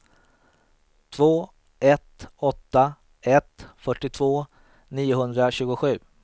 två ett åtta ett fyrtiotvå niohundratjugosju